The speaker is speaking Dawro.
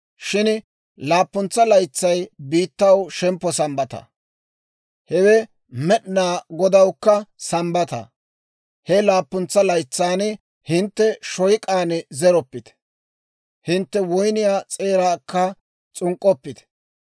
Shin laappuntsa laytsay biittaw shemppo Sambbata; hewe Med'inaa Godawukka Sambbata. He laappuntsa laytsan hintte shoyk'aan zeroppite; hintte woyniyaa s'eeraakka s'unk'k'oppite.